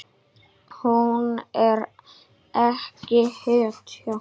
Hún er ekki hetja.